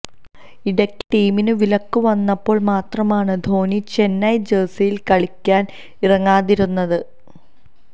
ഇടയ്ക്ക് ടീമിന് വിലക്ക് വന്നപ്പോള് മാത്രമാണ് ധോണിചെന്നൈ ജേഴ്സിയില് കളിക്കാന് ഇറങ്ങാതിരുന്നത്